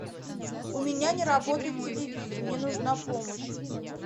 у меня не работает телевизор мне нужна помощь